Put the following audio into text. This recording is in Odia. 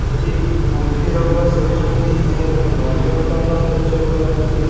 ଏଠି କୁମ୍ଭିର ଗୁରା ସୋଇଚନ୍ତି ଏହା ଗୋଟେ ନନ୍ଦନ୍ କାନ୍ଦନ୍ ଦୃଶ୍ୟ ଭଳି ଲାଗୁଛି।